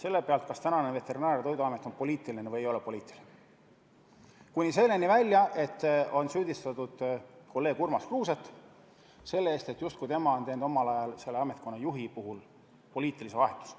On küsitud, kas Veterinaar- ja Toiduamet on poliitiline või ei ole poliitiline –kuni selleni välja, et on süüdistatud kolleeg Urmas Kruuset selle eest, et justkui tema on teinud omal ajal selle ametkonna juhi puhul poliitilise vahetuse.